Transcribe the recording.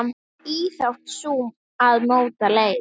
Íþrótt sú að móta leir.